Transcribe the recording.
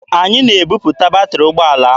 Anyị na-ebupụta batịrị ụgbọala ahụ.